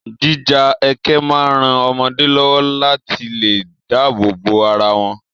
Jíja ẹkẹ máa ń ran ọmọdé lọ́wọ́ láti lè dáàbò bo ara wọn